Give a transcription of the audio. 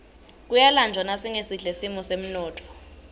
kuyalanjwa nasingesihle simo semnotfo